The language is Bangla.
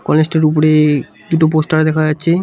কলেজটির উপরে-এ দুটো পোস্টার দেখা যাচ্ছে।